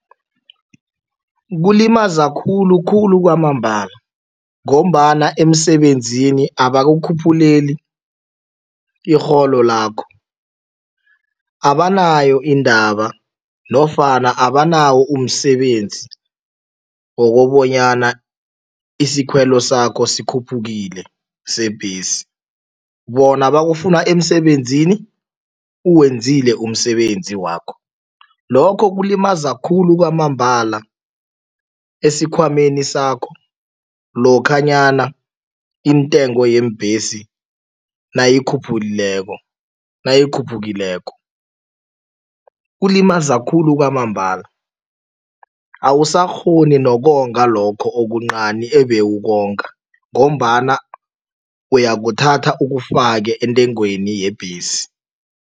Kulimaza khulukhulu kwamambala ngombana emsebenzini abakukhuphuleni irholo lakho. Abanayo iindaba nofana abanawo umsebenzi wokobonyana isikhwelo sakho sikhuphukile sebhesi. Bona bakufuna emsebenzini, uwenzile umsebenzi wakho. Lokho kulimaza khulu kwamambala esikhwameni sakho lokhanyana intengo yeembhesi nayikhuphulileko nayikhuphukileko, kulimaza khulu kwamambala. Awusakghoni nokonga lokho okuncani ebewukonga ngombana uyakuthatha ukufake entengweni yebhesi.